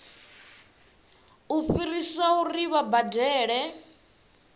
u fhirisa uri vha badele